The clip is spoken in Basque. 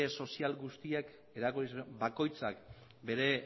sozial bakoitzak bere